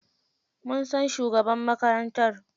Mun san shugaban makarantar.